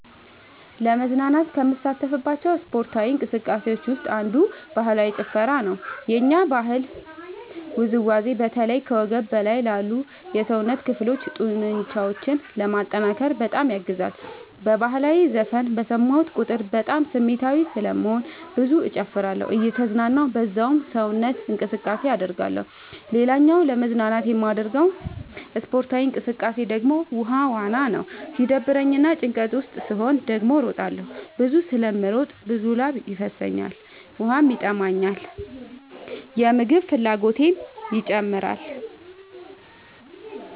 ለመዝናናት ከምሳተፍባቸው ስፓርታዊ እንቅስቃሴዎች ውስጥ አንዱ ባህላዊ ጭፈራ ነው። የኛ ባህላዊ ውዝዋዜ በተለይ ከወገብ በላይ ላሉ የሰውነት ክፍሎ ጡንቻዎችን ለማጠንከር በጣም ያግዛል። በህላዊ ዘፈን በሰማሁ ቁጥር በጣም ስሜታዊ ስለምሆን ብዙ እጨፍራለሁ እየተዝናናሁ በዛውም ሰውነት እንቅስቃሴ አደርጋለሁ። ሌላኛው ለመዝናናት የማደርገው ስፖርታዊ እንቅቃሴ ደግሞ ውሃ ዋና ነው። ሲደብረኝ እና ጭንቀት ውስጥ ስሆን ደግሞ እሮጣለሁ። ብዙ ስለምሮጥ ብዙ ላብ ይፈሰኛል ውሃም ይጠማኛል የምግብ ፍላጎቴም ይጨምራል።